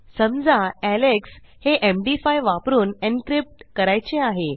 समजा एलेक्स हे एमडी5 वापरून एन्क्रिप्ट करायचे आहे